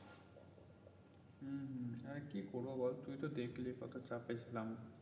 হুম আর কি করবো বল তুই তো দেখলি কত চাপে ছিলাম